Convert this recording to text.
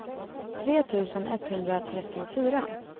tre tusen etthundratrettiofyra